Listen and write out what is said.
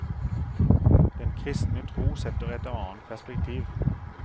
Den kristne tro setter et annet perspektiv.